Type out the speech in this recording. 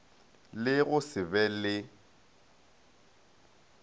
le go se be le